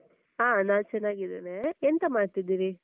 ಆ ನಾನ್ ಚನ್ನಾಗಿದ್ದೇನೆ. ಎಂತ ಮಾಡ್ತಿದ್ದೀರಿ?